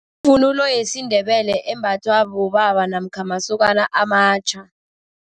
Ivunulo yesiNdebele embathwa bobaba namkha masokana amatjha.